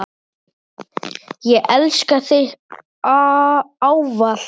Ég elska þig ávallt.